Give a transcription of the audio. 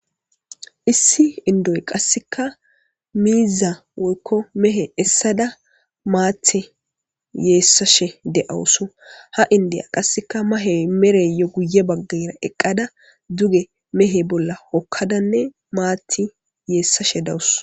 Issi endoyika qas mizi woyko mehe esada maththi yesashe de7awus ha enidiyaka qaseka mahe mareyo guye bagara eqada duge mehe bolla hokadane mathth yesashe dawus.